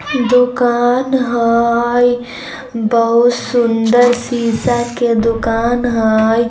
दुकान हई। बहुत सुंदर शीशा के दुकान हई।